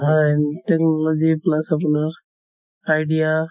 technology plus আপোনাৰ idea